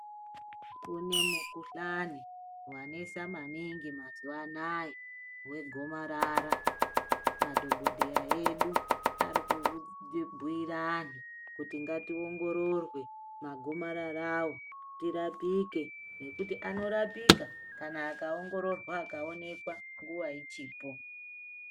Kune mukuhlani wanesa maningi mazuva anaya wegomarara. Madhogodheya edu arikubhuira anhu kuti ngationgororwe magomararawo tirapike nekuti anorapika kana akaongororwa akaonekwa nguva achipo.